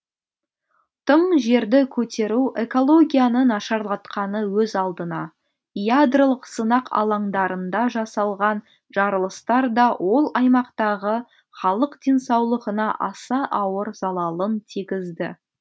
тың жерді көтеру экологияны нашарлатқаны өз алдына ядролық сынақ алаңдарында жасалған жарылыстар да ол аймақтағы халық денсаулығына аса ауыр залалын тигізді